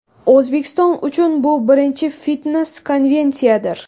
O‘zbekiston uchun bu birinchi fitnes-konvensiyadir.